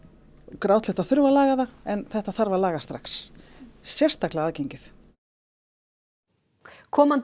grátlegt að þurfa að laga þá en þetta þarf að laga strax sérstaklega aðgengið komandi